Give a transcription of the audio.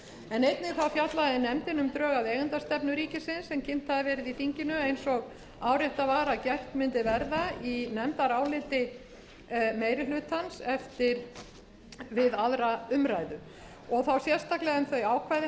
um drög að eigendastefnu ríkisins sem kynnt hafa verið í þinginu eins og áréttað var að gert mundi verða í nefndaráliti meiri hlutans við aðra umræðu og þá sérstaklega um þau ákvæði hennar sem